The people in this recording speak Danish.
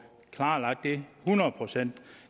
klarlagt det hundrede procent